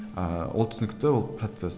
ыыы ол түсінікті ол процесс